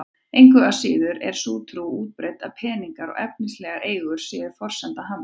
Engu að síður er sú trú útbreidd að peningar og efnislegar eigur séu forsenda hamingju.